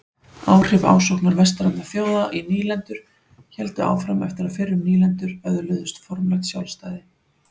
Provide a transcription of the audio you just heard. Áhrif ásóknar vestrænna þjóða í nýlendur héldu áfram eftir að fyrrum nýlendur öðluðust formlegt sjálfstæði.